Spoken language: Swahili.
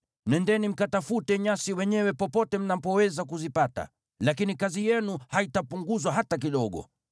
Nendeni mkatafute nyasi wenyewe popote mnapoweza kuzipata, lakini kazi yenu haitapunguzwa hata kidogo.’ ”